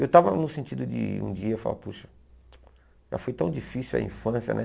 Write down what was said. Eu estava no sentido de um dia falar, puxa, já foi tão difícil a infância, né?